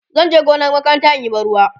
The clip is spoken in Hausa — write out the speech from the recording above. zanje gonar makaranta inyi ban ruwa